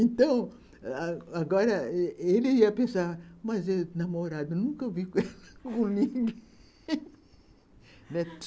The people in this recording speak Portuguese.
Então, agora, ele ia pensar, mas namorado, nunca vi com ninguém.